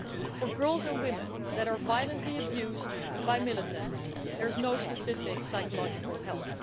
For girls and women who are violently abused by militants, there is no specific psychological help.